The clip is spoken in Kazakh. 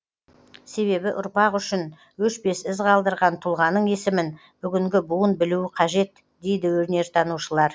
себебі ұрпақ үшін өшпес із қалдырған тұлғаның есімін бүгінгі буын білуі қажет дейді өнертанушылар